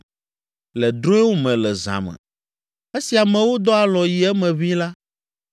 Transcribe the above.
Le drɔ̃ewo me le zã me, esi amewo dɔ alɔ̃ yi eme ʋĩi la,